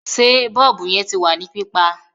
Sé bọ́ọ̀bù yẹn ti wà ní pípa?